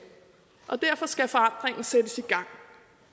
og derfor skal forandringen sættes i gang